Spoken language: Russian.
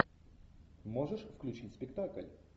можешь включить спектакль